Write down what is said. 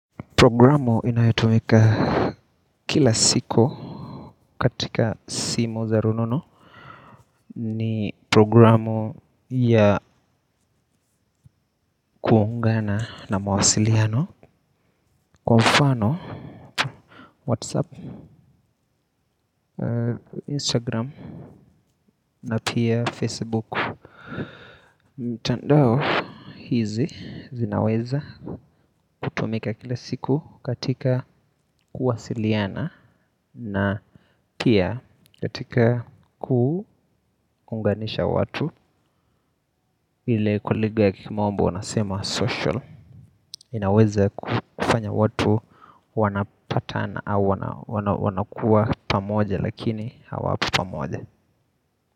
Programu inayotumika kila siku katika simu za rununu ni programu ya kuungana na mawasiliano kwa mfano Whatsapp, Instagram na pia Facebook. Mtandao hizi zinaweza kutumika kila siku katika kuwasiliana na pia katika kuunganisha watu. Ile kwa lugha ya kimombo unasema social. Inaweza kufanya watu wanapatana au wanakuwa pamoja lakini hawapo pamoja.